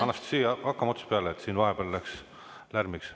Anastassia, hakkame otsast peale, siin vahepeal läks lärmiks.